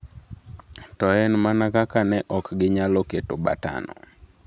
To en mana kaka ne ok ginyalo keto batonno.